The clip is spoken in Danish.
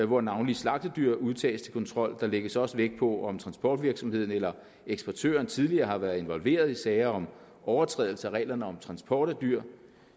hvor navnlig slagtedyr udtages til kontrol og der lægges også vægt på om transportvirksomheden eller eksportøren tidligere har været involveret i sager om overtrædelse af reglerne om transport af dyr